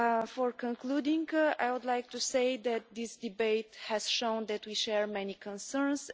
To conclude, I would like to say that this debate has shown that we share many concerns.